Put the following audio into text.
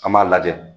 An b'a lajɛ